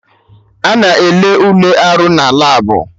Ana ele Ule arụ na labụ